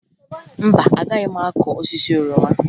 Mba, agaghị m akụ osisi oroma